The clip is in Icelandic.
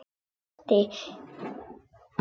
Já, sagði mamma og brosti.